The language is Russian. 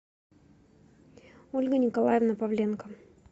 ольга николаевна павленко